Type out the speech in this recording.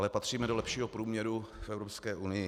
Ale patříme do lepšího průměru v Evropské unii.